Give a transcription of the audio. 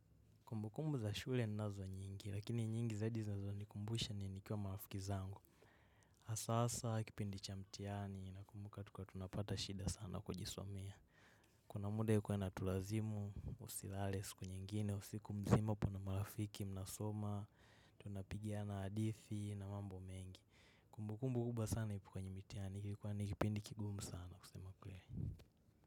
Kumbu kumbu za shule ninazo nyingi lakini nyingi zaidi zinazonikumbusha ni nikiwa marafiki zangu. Na sasa kipindi cha mtiani na kumbuka tulikuwa tunapata shida sana kujisomea. Kuna muda ilikuwa inatulazimu, usilale siku nyengine, usiku mzima uko na marafiki, mnasoma, tunapigiana hadithi na mambo mengi. Kumbu kumbu kubwa sana ni kwenye mitiani, kilikuwa nikipindi kigumu sana kusema kweli.